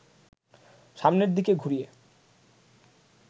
সামনের দিকে ঘুরিয়ে